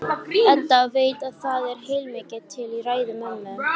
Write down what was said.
Edda veit að það er heilmikið til í ræðu mömmu.